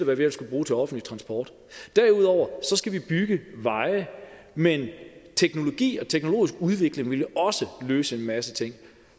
hvad vi ellers kunne bruge til offentlig transport derudover skal vi bygge veje men teknologi og teknologisk udvikling vil også løse en masse ting